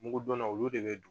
Mugudonnaw olu de bɛ don